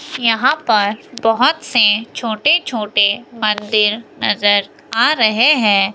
यहां पर बहोत से छोटे छोटे मंदिर नजर आ रहे हैं।